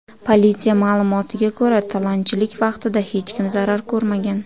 Politsiya ma’lumotiga ko‘ra, talonchilik vaqtida hech kim zarar ko‘rmagan.